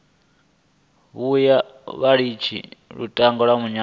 vhuya vha litsha lutingo muyani